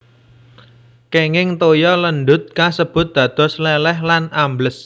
Kenging toya lendhut kasebut dados lèlèh lan ambles